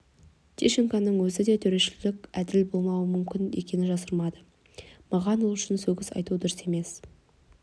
тищенконың өзі де төрешілік әділ болмауы мүмкін екенін жасырмады маған ол үшін сөгіс арту дұрыс емес